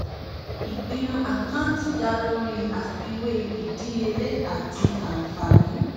ìpinnu àkántì da lori afiwe ìdíyelé àti ànfààní